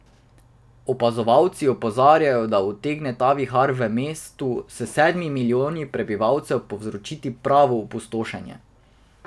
Opazovalci opozarjajo, da utegne ta vihar v mestu s sedmimi milijoni prebivalcev povzročiti pravo opustošenje.